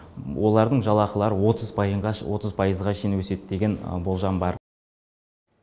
олардың жалақылары отыз пайызға шейін өседі деген болжам бар